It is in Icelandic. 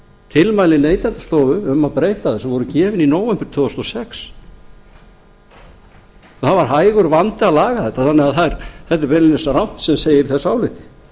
tilmæli neytendastofu um að breyta þessu voru gefin í nóvember tvö þúsund og sex það var hægur vandi að laga þetta þannig að þetta er beinlínis rangt sem segir í þessu áliti